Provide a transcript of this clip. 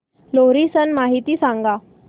लोहरी सण माहिती सांगा